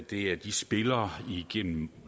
det er de spillere hvorigennem